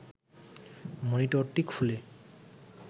মনিটরটি খুলে